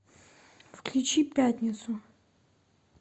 включи пятницу